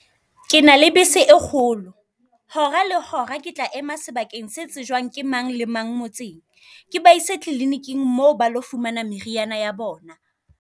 Ke na le bese e kgolo hora, le hora ke tla ema sebakeng se tsejwang ke mang le mang motseng. Ke ba ise kliliniking mo ba lo fumana meriana ya bona.